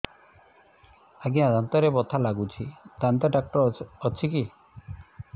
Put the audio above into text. ଆଜ୍ଞା ଦାନ୍ତରେ ବଥା ଲାଗୁଚି ଦାନ୍ତ ଡାକ୍ତର ଅଛି କି